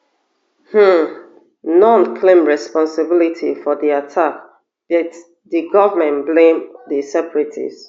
um noone claim responsibility for di attack bit di goment blame di separatists